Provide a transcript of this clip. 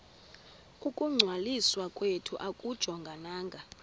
ukungcwaliswa kwethu akujongananga